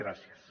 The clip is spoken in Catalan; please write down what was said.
gràcies